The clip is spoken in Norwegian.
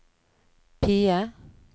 PIE